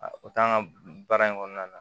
A o t'an ka baara in kɔnɔna na